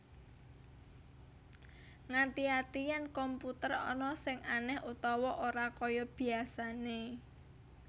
Ngati ati yèn komputer ana sing anèh utawa ora kaya biasané